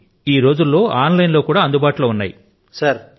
ఇంకా ఈ రోజులలో అవి ఆన్లైన్ లో కూడా అందుబాటు లో ఉన్నాయి